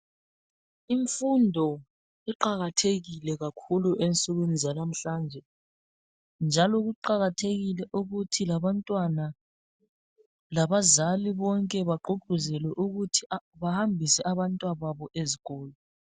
Imfundo iqakathekile kakhulu ensukwini zalamhlanje njalo kuqakathekile ukuthi labantwana labazali bonke bagqugquzelwe ukuthi bahambise abantwababo ezikolo.